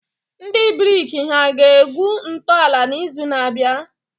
Ndị brik hà ga-egwu ntọala n'izu na-abịa?